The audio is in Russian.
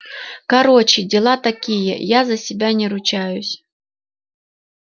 короче дела такие я за себя не ручаюсь